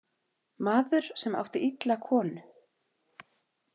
Maður sem átti illa konu.